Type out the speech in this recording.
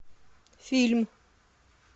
фильм